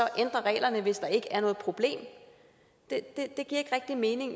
reglerne hvis der ikke er noget problem det giver ikke rigtig mening